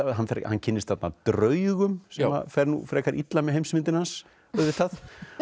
hann hann kynnist þarna draugum sem að fer nú frekar illa með heimsmyndina hans auðvitað